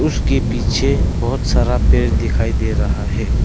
उसके पीछे बहोत सारा पेड़ दिखाई दे रहा है।